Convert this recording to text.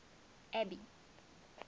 abby